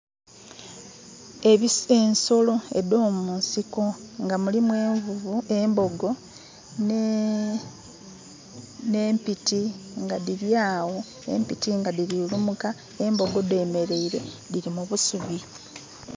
Ensolo edho mu nsiko nga mulimu envuvu, embogo nhe... nhe mpiti nga dhiriagho, empiti nga dhiri kulumuka, embogo dhemereire dhiri mubusubi.